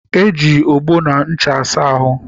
Eji ogbo na ncha asa ahụ.